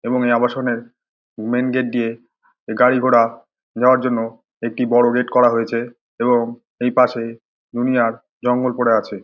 এবং এই আবাসনের মেন্ গেট দিয়ে গাড়ি ঘোরা যাওয়ার জন্য একটি বড় গেট করা হয়েছে এবং এই পাশে দুনিয়ার জঙ্গল পরে আছে